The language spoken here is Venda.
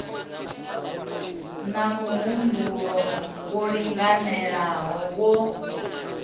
na muhumbulo wo linganelaho wa